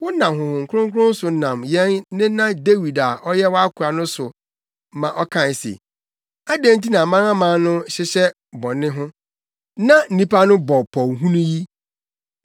wonam Honhom Kronkron so nam yɛn nena Dawid a ɔyɛ wʼakoa no so ma ɔkae se, “Adɛn nti na amanaman no hyehyɛ bɔne ho, na nnipa no bɔ pɔw hunu yi?